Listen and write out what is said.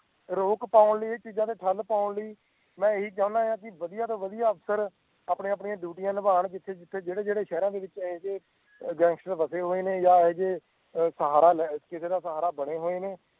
ਰੋਕ ਪਾਨ ਲਈ ਇਹ ਚੀਜ ਨੂੰ ਤੇ ਠੰਡ ਪਾਨ ਲਈ ਇਹ ਚੀਜਾਂ ਮੈਂ ਇਹੀ ਚਾਹੀਦਾ ਕਿ ਵਦਿਹਾ ਤੋਂ ਵਦਿਹਾ ਅਫਸਰ ਆਪਣੀਆਂ ਆਪਣੀਆਂ ਡਿਊਟੀਆ ਨਿਬਾਨ ਜਿਥੇ ਜਿਥੇ ਜੇੜੇ ਜੇੜੇ ਸ਼ਹਿਰ ਵਿੱਚ ਹੈਗੇ ਗੈਂਗਸਟਰ ਫ਼ਸੇ ਹੋਏ ਨੇ ਯਾ ਅਜੇ ਕਿਸੇ ਦਾ ਸਹਾਰਾ ਬਣੇ ਹੋਏ ਨੇ